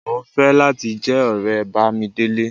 Mo ń fẹ́ láti jẹ́ ọ̀rẹ́ Bámidélé